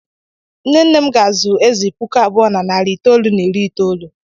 Nne nne m ga-azụ́ ezì puku abụọ na narị itoolu na iri itoolu.